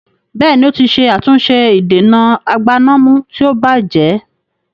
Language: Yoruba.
Bẹ́ẹ̀ni, ó ti ṣe àtúnṣe ìdènà agbánàmú tí ó bajẹ́